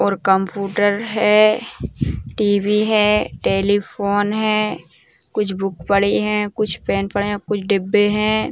और कंपूटर है टी.वी. है टेलीफोन है कुछ बुक पड़े हैं कुछ पेन पड़े हैं कुछ डिब्बे हैं।